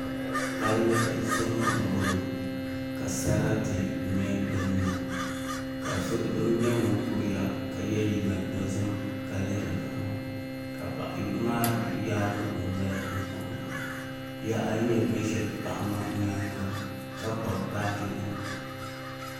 Palli zuɣu n boŋo ka sarati nyɛ din niŋ ka doo nyɛ ŋun kuriya ka yɛ liiga dozim ka lihiri paɣa maa ka paɣa yino maa yaagi o noli n kuhura bihi ayi nyɛ bin ʒɛ paɣa maa nyaanga ka kpabi baaji nima